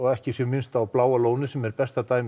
ekki sé minnst á Bláa lónið sem er besta dæmið